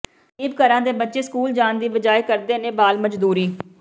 ਗ਼ਰੀਬ ਘਰਾਂ ਦੇ ਬੱਚੇ ਸਕੂਲ ਜਾਣ ਦੀ ਬਜਾਏ ਕਰਦੇ ਨੇ ਬਾਲ ਮਜ਼ਦੂਰੀ